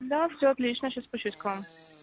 да все отлично сейчас спущусь к вам